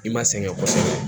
I ma sɛgɛn kosɛbɛ